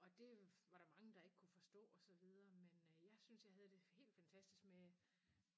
Og det var der mange der ikke kunne forstå og så videre men øh jeg syntes jeg havde det helt fantastisk med